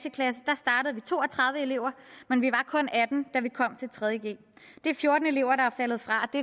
i to og tredive elever men vi var kun atten da vi kom til tredje g det er fjorten elever der er faldet fra og